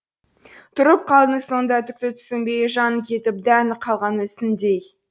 тұрып қалдың сонда түкті түсінбей жаны кетіп дәні қалған мүсіндей